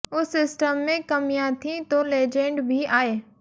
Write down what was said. उस सिस्टम में कमियां थीं तो लेजेंड भी आए